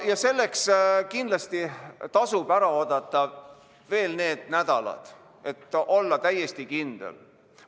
... ja selleks tasub kindlasti ära oodata veel need nädalad, et olla täiesti kindel.